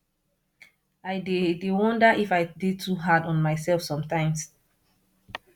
i dey dey wonder if i dey too hard on myself sometimes